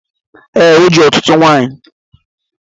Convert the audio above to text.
Ee, o ji ọtụtụ nwanyị